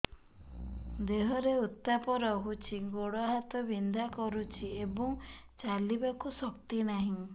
ଦେହରେ ଉତାପ ରହୁଛି ଗୋଡ଼ ହାତ ବିନ୍ଧା କରୁଛି ଏବଂ ଚାଲିବାକୁ ଶକ୍ତି ନାହିଁ